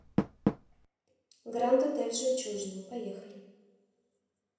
гранд отель жемчужина поехали